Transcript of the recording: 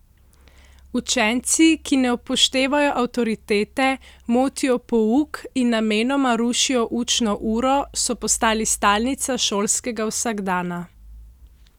Učenci, ki ne upoštevajo avtoritete, motijo pouk in namenoma rušijo učno uro, so postali stalnica šolskega vsakdana.